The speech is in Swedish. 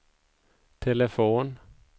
telefon